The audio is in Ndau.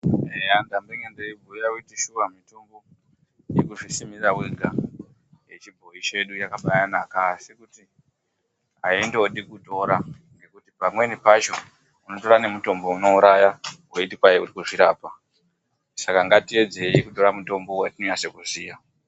Eya ndamboenge ndeibhuya kuti shuwa mitombo yekuzvisimira wega yechibhoyi chedu yakabanaka asi kuti haindodi kutora ngekuti pamweni pacho unotora nemutombo unouraya weiti uri kuzvirapa. Saka ngatiedzei kutora mutombo watinonase kuziya.